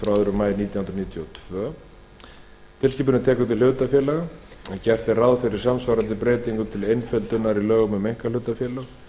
öðrum maí nítján hundruð níutíu og tvö tilskipunin tekur til hlutafélaga en gert er ráð fyrir samsvarandi breytingum til einföldunar í lögum um einkahlutafélög